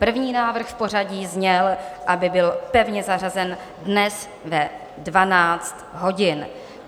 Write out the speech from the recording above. První návrh v pořadí zněl, aby byl pevně zařazen dnes ve 12 hodin.